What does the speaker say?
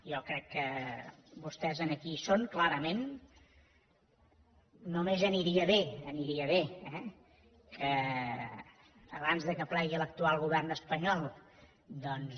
jo crec que vostès aquí hi són clarament només aniria bé aniria bé eh que abans que plegui l’actual govern espanyol doncs